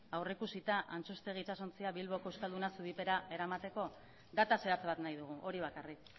aurreikusita antxustegi itsasontzia bilboko euskalduna zubipera eramateko data zehatz bat nahi dugu hori bakarrik